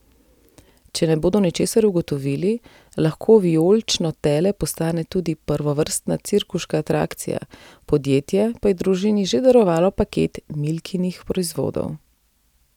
Če ne bodo ničesar ugotovili, lahko vijolično tele postane tudi prvovrstna cirkuška atrakcija, podjetje pa je družini že darovalo paket Milkinih proizvodov.